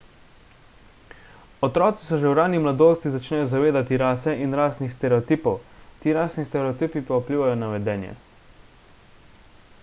otroci se že v rani mladosti začnejo zavedati rase in rasnih stereotipov ti rasni stereotipi pa vplivajo na vedenje